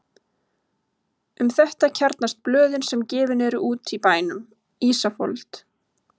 Um þetta kjarnast blöðin sem gefin eru út í bænum: Ísafold